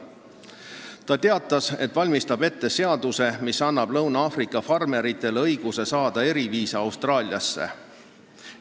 Ta teatas, et valmistab ette seaduse, mis annab LAV-i farmeritele õiguse saada eriviisa Austraaliasse tulekuks.